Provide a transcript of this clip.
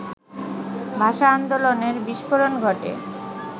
ভাষা-আন্দোলনের বিস্ফোরণ ঘটে